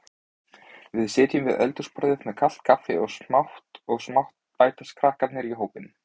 Við sitjum við eldhúsborðið með kalt kaffi og smátt og smátt bætast krakkarnir í hópinn.